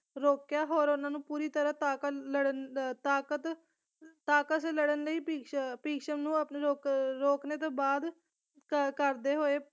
ਰੋਕਿਆ ਹੋਰ ਉਹਨਾਂ ਨੂੰ ਪੂਰੀ ਤਰਾਂ ਤਾਕਤ ਲੜਨ ਤਾਕਤ ਤੇ ਲੜਨ ਲਈ ਭਿਸ਼ਮ ਭਿਸ਼ਮ ਨੂੰ ਆਪਣੇ ਰੋਕ ਰੋਕਣੇ ਤੋਂ ਬਾਅਦ ਕਰਦੇ ਹੋਏ